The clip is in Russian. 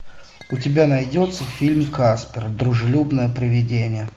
у тебя найдется фильм каспер дружелюбное привидение